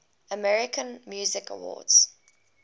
american music awards